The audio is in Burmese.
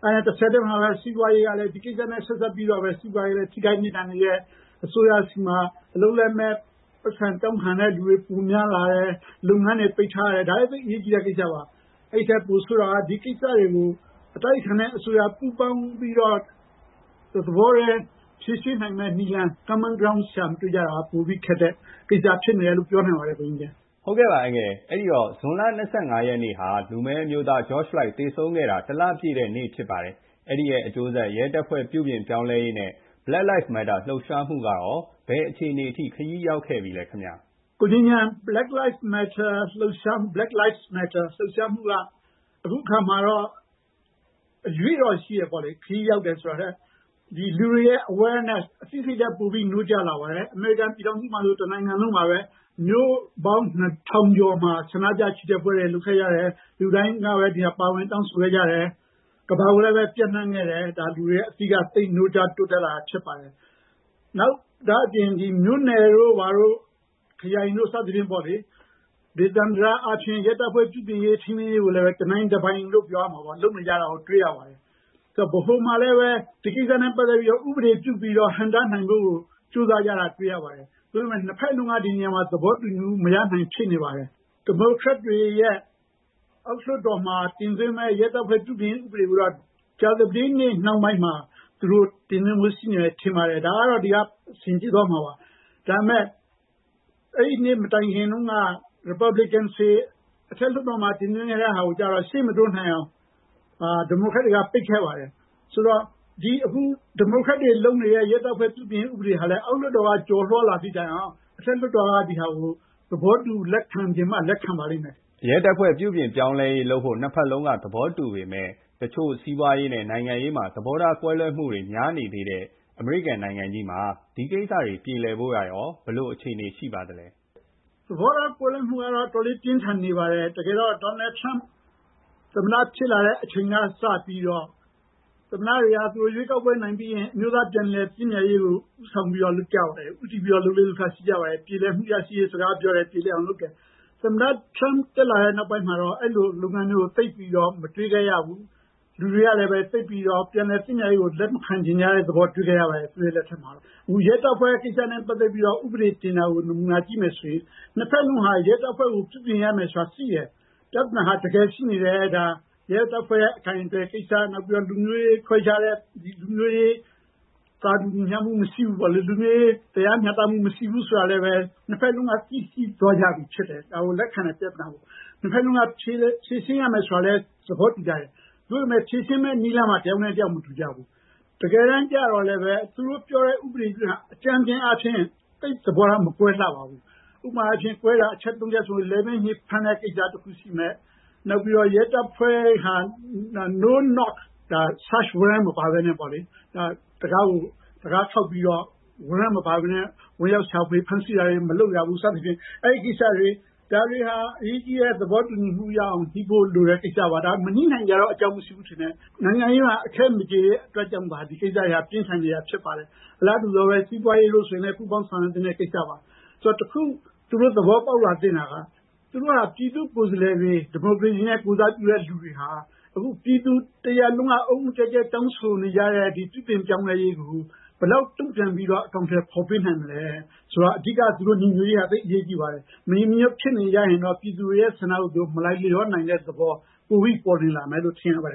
။ ဒါနဲ့ ဆက်ပြီးတော့ စီးပွားရေးမှာလည်း ထိခိုက်နစ်နာနေတယ် အစိုးရဆီမှာ အလုပ်လက်မဲ့ ပိုက်ဆံတောင်းခံတဲ့လူတွေ ပိုများလာတယ် လုပ်ငန်းတွေ ပိတ်ထားတယ် ဒါက သိပ်အရေးကြီးတဲ့ ကိစ္စပါ။ အဲဒီထက် ပိုဆိုးတာက ဒီကိစ္စတွေကို အတိုက်အခံနဲ့အစိုးရ ပူးပေါင်းပြီးတော့ တသဘောတည်း ဖြေရှင်းနိုင်မယ့် နည်းလမ်း common ground ရှာမတွေ့တာက ပိုပြီးတော့ ခက်တဲ့ ကိစ္စဖြစ်မယ်လို့ ပြောနိုင်ပါတယ်။ နောက်ပြီး ဇွန်လ ၂၅ ရက်နေ့ မှာ လူမည်းအမျိုးသား George Floyd သေဆုံးခဲ့တာ ၁ လပြည့်ခဲ့ပါပြီ။ အဲ့ဒီရဲ့ အကျိုးဆက် ရဲတပ်ဖွဲ့ပြုပြင်ပြောင်းလဲရေး၊ နဲ့ Black Lives Matter လှုပ်ရှားမှုက ဘယ်အခြေအနေအထိ ခရီးရောက်ခဲ့ပြီလဲခင်ဗျ။ Black Lives Matter လှုပ်ရှားမှုက အခုအခါမှာတော့ ခရီးရောက်တယ်ဆိုတာထက် အရွေ့တော့ရှိတယ်ပေါ့လေ ဒီလူတွေရဲ့ awareness အသိစိတ်ဓါတ် ပိုပြီး နိုးကြားလာပါတယ်။ အမေရိကန်ပြည်ထောင်စုမှာဆို တနိုင်ငံလုံးမှာပါပဲ မြို့ပေါင်း ၂၀၀၀ ကျော်မှာ ဆန္ဒပြ ချီတက်ပွဲတွေ လုပ်ခဲ့တယ်၊ လူတိုင်း ဒါကို ပါဝင်တောင်းဆိုခဲ့တယ်၊ ကမ္ဘာကိုလည်း ပျံ့နှံ့ခဲ့တယ် ဒါက လူတွေ ရဲ့ အသိနိုးကြားလာတာဖြစ်ပါတယ်။ ဒါ့အပြင် မြို့နယ်တို့ ဘာတို့ ခရိုင်တို့ စသည်ဖြင့်ပေါ့လေ ဒေသန္တရ အားဖြင့် ရဲတပ်ဖွဲ့ ပြုပြင်ရေး၊ ထိန်းသိမ်းရေး ကိုလည်း တနိုင်တပိုင်လို့ ပြောရမှာပေါ့ လုပ်နေတာကို တွေ့ရပါတယ်။ ဆိုတော့ ဗဟိုမှာလည်း ဒီကိစ္စနဲ့ ပတ်သက်ပြီးတော့ ဥပဒေပြုပြီးတော့ ဟန့်တားနိုင်ဖို့ ကြိုးစားကြတာ တွေ့ရပါတယ်။ သို့ပေမယ့် ၂ ဖက်လုံးက ဒီနေရာမှာ သဘောတူမှု မရနိုင်တာကို တွေ့နေရပါတယ်။ ဒီမိုကရက်တွေရဲ့ အောက်လွှတ်တော်မှာ တင်သွင်းမယ့် ရဲတပ်ဖွဲ့ ပြုပြင်ပြောင်းလဲရေး ဥပဒေကိုတော့ ကြာသပတေးနေ့ နှောင်းပိုင်းမှာ တင်သွင်းဖို့ ရှိမယ်ထင်ပါတယ်။ ဒါပေမယ့် အဲဒီနေ့ မတိုင်ခင်တုန်းက Republican တွေ အထက်လွှတ်တော်မှာ တင်သွင်းခဲ့တာကိုတော့ အရှေ့မတိုးနိုင်အောင် ဒီမိုကရက်တွေက ပိတ်ခဲ့ပါတယ်။ ဆိုတော့ ဒီမိုကရက်တွေလုပ်နေတဲ့ ရဲတပ်ဖွဲ့ ပြုပြင်ပြောင်းလဲရေး ဥပဒေကလည်း အောက်လွှတ်တော်က ကျော်လွှားလာသည့်တိုင်အောင် အထက်လွှတ်တော်က ဒါကို သဘောတူ လက်ခံချင်မှ လက်ခံပါလိမ့်မယ်။ ရဲတပ်ဖွဲ့ ပြုပြင်ပြောင်းလဲရေး လုပ်ဖို့ နှစ်ဖက်စလုံး သဘောတူပေမယ့် တချို့ စီးပွားရေး၊ နိုင်ငံရေးမှာ သဘောထားကွဲလွဲမှုတွေ များနေတဲ့အမေရိကန် နိုင်ငံကြီးမှာ ဒီကိစ္စတွေ ပြေလည်ဖို့က ရော ဘယ်လို အခြေအနေရှိပါသလဲ။ သဘောထားကွဲလွဲမှုတွေကတော့ အတော်လေး ပြင်းထန်နေပါတယ်။ တကယ်တော့ Trump သမ္မတ ဖြစ်လာတဲ့အချိန်က စပြီးတော့ သမ္မတတွေဟာ ကိုယ်ရွေးကောက်ပွဲ နိုင်ပြီးရင် အမျိုးသား ပြန်လည်သင့်မြတ်ရေးကို ဦးဆောင်ပြီးလုပ်ကြတယ်၊ ဦးတည်ပြီးတော့ လုပ်လေ့လုပ်ထ ရှိပါတယ် ပြေလည်မှုရရှိရေး စကားပြောတယ်၊ ပြေလည်အောင်လုပ်တယ်။ သမ္မတ Trump တက်လာတဲ့ နောက်ပိုင်းမှာ အဲဒီလို လုပ်ငန်းမျိုးကို သိပ်ပြီးတော့ မတွေ့ခဲ့ရဘူး။ လူတွေကလည်း သိပ်ပြီးတော့ ပြန်လည်သင့်မြတ်ရေးကို လက်မခံချင်တဲ့ သဘောတွေ့ခဲ့ရပါတယ်။ အခု ရဲတပ်ဖွဲ့ ကိစ္စနဲ့ ပတ်သက်ပြီးတော့ ဥပဒေ တင်တာကို နမူနာကြည့်မယ်ဆိုရင် နှစ်ဖက်စလုံးက ရဲတပ်ဖွဲ့ ကို ပြုပြင်ပြောင်းလဲရမယ်ဆိုတာ သိတယ် ၊ ပြဿနာဟာ တကယ်ရှိနေတယ် ရဲတပ်ဖွဲ့ရဲ့ အကိုင်အတွယ်ကိစ္စ ၊ လူမျိုးရေး ခွဲခြားတာ သာတူညီမျှမူမရှိဘူးပေါ့လေ ၊ လူမျိုးရေးတရားမျှတမှု မရှိဘူးဆိုတာလည်း နှစ်ဖက်စလုံးက သိရှိသွားကြပြီဖြစ်တယ် ပြဿနာကို လက်ခံတယ်။ နှစ်ဖက်စလုံးက ဖြေရှင်းရမယ်ဆိုတာလည်း သဘောတူကြတယ်။ သို့ပေမယ့် ဖြေရှင်းမယ့် နည်းလမ်းမှာ တယောက်နဲ့ တယောက် သဘောမတူကြဘူး။ တကယ်တမ်းတော့ သူတို့ ပြောတဲ့ ဥပဒေက အကြမ်းဖျင်းအားဖြင့် သဘောထား မကွဲလှပါဘူး။ ဥပမာအားဖြင့် ကွဲတာ အချက် ၃ ချက်ဆိုရင် လည်ပင်းညစ် ဖမ်းတဲ့ ကိစ္စ တခုရှိမယ်၊ရဲတပ်ဖွဲ့က Search warrant မပါပဲနဲ့ တံခါးခေါက်ပြီးတော့ ဝင်ရောက်ရှာဖွေ ဖမ်းဆီးတာတွေ မလုပ်ရဘူး စသဖြင့် ။ အဲဒီကိစ္စတွေက အရေးကြီးတဲ့ သဘောတူညီမှု ရအောင် ညှိဖို့လိုတဲ့ ကိစ္စပါ။ မညှိနိုင်စရာတော့ အကြောင်းမရှိဘူးထင်တယ် နိုင်ငံရေးအခဲမကျေဖြစ်တော့ ဒီကိစ္စတွေက ပြင်းထန်နေတာဖြစ်ပါတယ်။ အလားတူ စီးပွားရေးဆိုရင်လည်း ပူးပေါင်းဆောင်ရွက်သင့်တဲ့ ကိစ္စပါ။ ဆိုတော့ တခု သူတို့ သဘောပေါက်လာသင့်တာက သူတို့ဟာ ပြည်သူ့ကိုယ်စားလှယ်တွေ ဒီမိုကရေစီနဲ့ ကိုယ်စားပြုတဲ့သူတွေဟာ အခု ပြည်သူတရပ်လုံးက အုတ်အုတ်ကျက်ကျက်တောင်းဆိုနေကြတဲ့ ဒီပြုပြင်ပြောင်းလဲရေးကို ဘယ်လောက် တုံ့ပြန်ပြီးတော့ အကောင်အထည်ဖော်နိုင်မလဲ ဆိုတော့ အဓိက သူတို့ ညီညွတ်ရေး သိပ်အရေးကြီးပါတယ်။ မညီမညွတ်ဖြစ်နေရင် ပြည်သူတွေရဲ့ ဆန္ဒကို မလိုက်လျောနိုင်တဲ့သဘော ပိုပြီးပေါ်လွင်လာမယ်လို့ ထင်ရပါတယ်